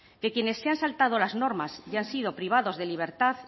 que quienes se han saltado las normas y han sido privados de libertad